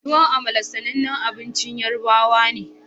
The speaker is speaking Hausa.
Tuwon amala sanannin abincin yorubawa ne